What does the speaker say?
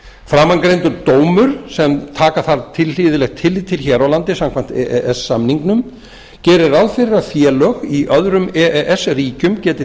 framangreindur dómur sem taka þarf tilhlýðilegt tillit til hér á landi samkvæmt e e s samningnum gerir ráð fyrir að félög í öðrum e e s ríkjum geti